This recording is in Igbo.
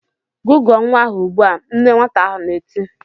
"Gụgụọ nwa ahụ ugbu a!" Nne nwata ahụ na-eti.